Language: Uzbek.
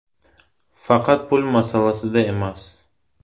Faqat pul masalasida emas.